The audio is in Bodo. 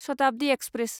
शताब्दि एक्सप्रेस